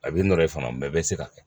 A bɛ nɔrɔ i fana mɛ se ka kɛ